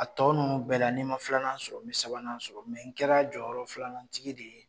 A tɔ ninnu bɛɛ la ni n ma filanan sɔrɔ n bɛ sabanan sɔrɔ n kɛra jɔyɔrɔ filanantigi de ye